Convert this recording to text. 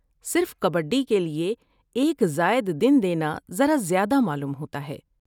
صرف کبڈی کے لیے ایک زائد دن دینا ذرا زیادہ معلوم ہوتا ہے۔